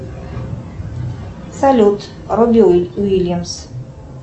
салют робби уильямс